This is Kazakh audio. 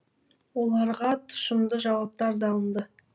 оларға тұщымды жауаптар да алынды